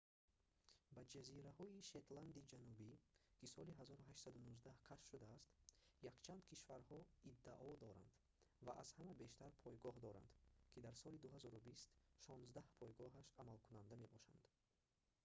ба ҷазираҳои шетланди ҷанубӣ ки соли 1819 кашф шудааст якчанд кишварҳо иддао доранд ва аз ҳама бештар пойгоҳ доранд ки дар соли 2020 шонздаҳ пойгоҳаш амалкунанда мебошанд